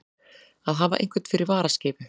Að hafa einhvern fyrir varaskeifu